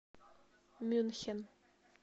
мюнхен